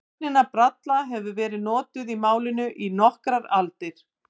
Sögnin að bralla hefur verið notuð í málinu í nokkrar aldir.